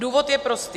Důvod je prostý.